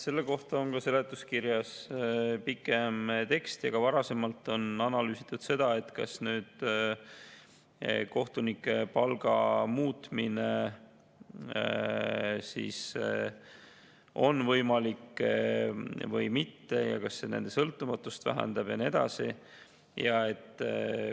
Selle kohta on seletuskirjas pikem tekst ja ka varasemalt on analüüsitud, kas kohtunike palga muutmine on võimalik või mitte, kas see muutmine vähendab nende sõltumatust ja nii edasi.